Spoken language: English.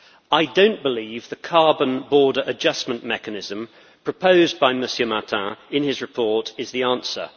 I do not believe the Carbon Border Adjustment Mechanism proposed by Mr Martin in his report is the answer.